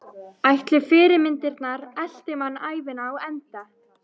Ætli fyrirmyndirnar elti mann ævina á enda?